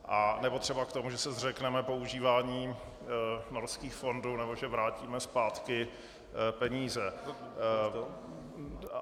Anebo třeba k tomu, že se zřekneme používání Norských fondů nebo že vrátíme zpátky peníze.